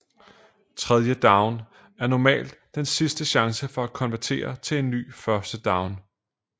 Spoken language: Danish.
Tredje down er normalt den sidste chance for at konvertere til en ny første down